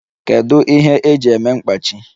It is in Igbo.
Kedu ihe eji eme mkpachi?